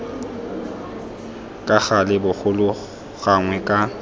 ka gale bogolo gangwe ka